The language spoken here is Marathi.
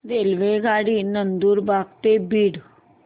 रेल्वेगाडी नंदुरबार ते बीड